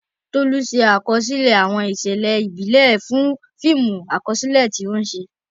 Tolu ṣe àkọsílẹ̀ àwọn ìṣẹ̀lẹ̀ ìbílẹ̀ fún fíìmù àkọsílẹ̀ tí ó ń ṣe.